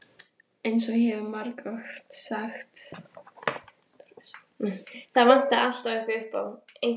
EINS OG ÉG HEF MARGOFT SAGT.